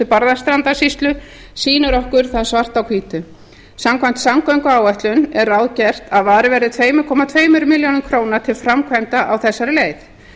barðastrandarsýslu sýnir okkur það svart á hvítu samkvæmt samgönguáætlun er ráðgert að varið verði tvö komma tveimur milljónum króna til framkvæmda á þessari leið